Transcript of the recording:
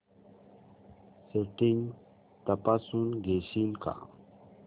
settings तपासून घेशील का